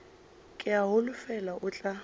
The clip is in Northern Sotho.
ke a holofela o tla